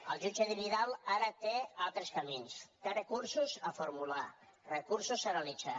el jutge vidal ara té altres camins té recursos a formular recursos a realitzar